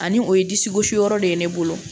Ani o ye disi gosi yɔrɔ de ye ne bolo